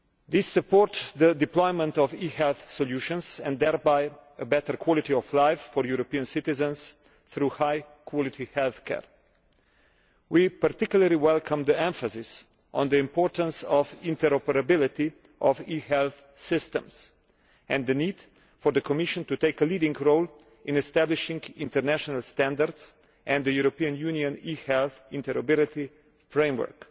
We support the deployment of e health solutions and thereby a better quality of life for European citizens through high quality healthcare, and we particularly welcome the emphasis on the importance of interoperability of e health systems and the need for the Commission to take a leading role in establishing international standards and the European Union eHealth interoperability framework.